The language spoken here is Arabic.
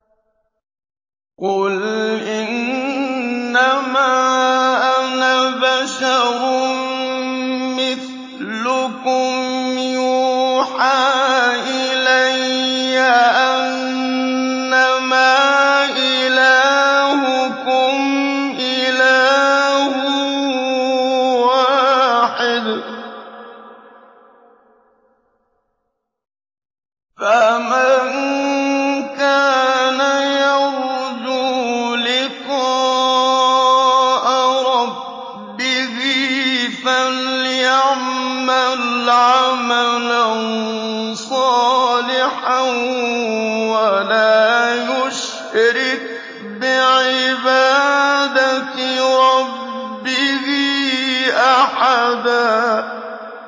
قُلْ إِنَّمَا أَنَا بَشَرٌ مِّثْلُكُمْ يُوحَىٰ إِلَيَّ أَنَّمَا إِلَٰهُكُمْ إِلَٰهٌ وَاحِدٌ ۖ فَمَن كَانَ يَرْجُو لِقَاءَ رَبِّهِ فَلْيَعْمَلْ عَمَلًا صَالِحًا وَلَا يُشْرِكْ بِعِبَادَةِ رَبِّهِ أَحَدًا